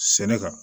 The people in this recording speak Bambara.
Sɛnɛ kan